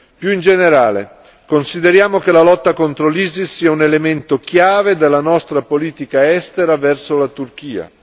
Più in generale, consideriamo che la lotta contro l'ISIS sia un elemento chiave della nostra politica estera verso la Turchia.